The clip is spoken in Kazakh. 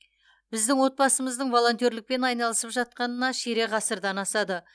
біздің отбасымыздың волонтерлікпен айналысып жатқанына ширек ғасырдан асады